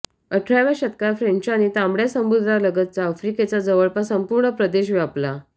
अठराव्या शतकात फ्रेंचांनी तांबड्या समुद्रालगतचा आफ्रिकेचा जवळपास संपूर्ण प्रदेश व्यापला